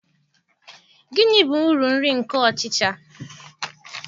Gịnị bụ uru nri nke ọchịcha?